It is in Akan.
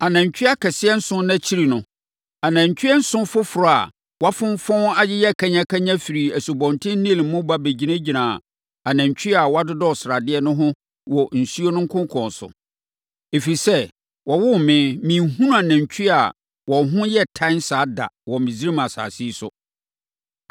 Anantwie akɛseɛ nson no akyiri no, anantwie nson foforɔ a wɔafonfɔn ayeyɛ kanyakanya firii Asubɔnten Nil mu ba bɛgyinaa anantwie a wɔadodɔ sradeɛ no ho wɔ asuo no konkɔn so. Ɛfiri sɛ wɔwoo me, menhunuu anantwie a wɔn ho yɛ tan saa da wɔ Misraim asase yi so.